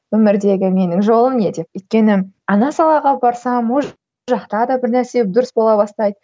өмірдегі менің жолым не деп өйткені ана салаға барсам ол жақта да бір нәрсе дұрыс бола бастайды